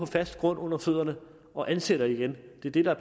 fast grund under fødderne og ansætter igen det er det der